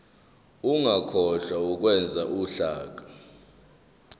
ungakhohlwa ukwenza uhlaka